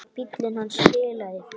Bíllinn hans bilaði.